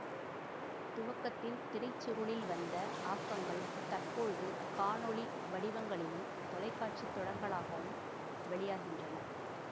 துவக்கத்தில் திரைச்சுருளில் வந்த ஆக்கங்கள் தற்போழுது காணொளி வடிவங்களிலும் தொலைக்காட்சி தொடர்களாகவும் வெளியாகின்றன